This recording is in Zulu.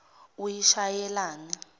uyishayelani